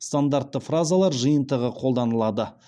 стандартты фразалар жиынтығы қолданылады